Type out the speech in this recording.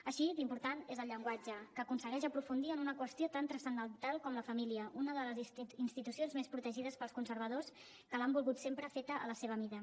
així d’important és el llenguatge que aconsegueix aprofundir en una qüestió tan transcendental com la família una de les institucions més protegides pels conservadors que l’han volgut sempre feta a la seva mida